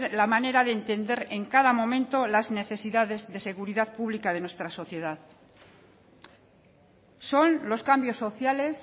la manera de entender en cada momento las necesidades de seguridad pública de nuestra sociedad son los cambios sociales